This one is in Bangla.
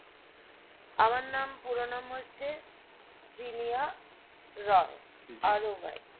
আমার নাম পুরো নাম হচ্ছে জিনিয়া রয় ROY